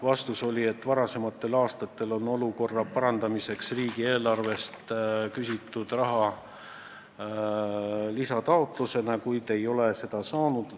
Vastus oli, et varasematel aastatel on olukorra parandamiseks riigieelarvest küsitud raha lisataotlusena, kuid ei ole seda saadud.